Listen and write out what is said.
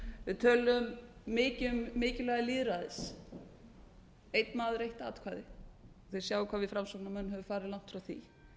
við töluðum mikið um mikilvæga lýðræðið einn maður eitt atkvæði þið sjáið hvað við framsóknarmenn höfum farið langt frá því